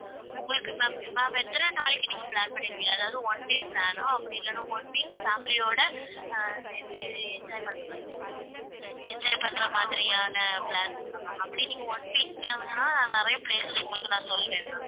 உங்களுக்கு ma'am ma'am எத்தன நாளைக்கு நீங்க plan பண்ணிருக்கீங்க அதாவது one day plan ஆ அப்படியில்லைன்னா one week family யோட அஹ் சேர்ந்து enjoy பண்ற மாதிரி enjoy பண்ற மாதிரியான plan இருக்கா ma'am அப்படி நீங்க one week னா நிறைய places உங்களுக்கு நான் சொல்லுவேன் ma'am